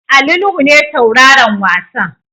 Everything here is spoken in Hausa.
Ali Nuhu ne tauraron wasan.